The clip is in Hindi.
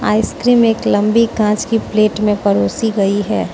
आइसक्रीम एक लंबी कांच की प्लेट में परोसी गई है।